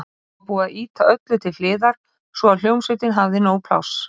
Nú var búið að ýta öllu til hliðar svo að hljómsveitin hefði nóg pláss.